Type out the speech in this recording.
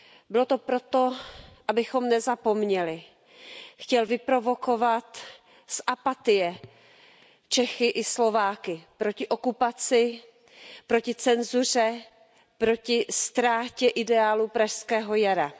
Bylo to proto, abychom nezapomněli, chtěl vyprovokovat z apatie Čechy i Slováky proti okupaci, proti cenzuře, proti ztrátě ideálu Pražského jara.